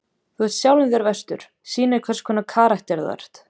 Þú ert sjálfum þér verstur. sýnir hverskonar karakter þú ert.